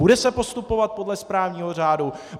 Bude se postupovat podle správního řádu?